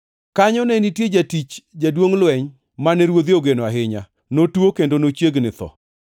Kanyo ne nitie jatich jaduongʼ lweny, mane ruodhe ogeno ahinya, notuo kendo nochiegni gi tho.